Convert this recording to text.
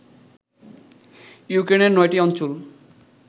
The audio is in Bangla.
ইউক্রেনের নয়টি অঞ্চল